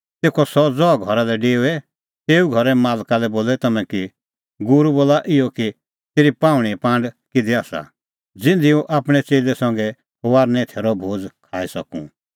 तेखअ सह ज़हा घरा लै डेओए तेऊ घरे मालका लै बोलै तम्हैं कि गूरू बोला इहअ कि तेरी पाहुंणेंए पांड किधी आसा ज़िधी हुंह आपणैं च़ेल्लै संघै फसहे थैरो भोज़ खाई सकूं